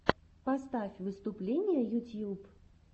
поставь выступления ютьюб